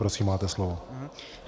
Prosím, máte slovo.